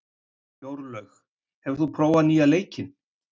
Jórlaug, hefur þú prófað nýja leikinn?